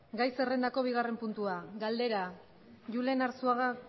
gai zerrendako bigarren puntua galdera julen arzuaga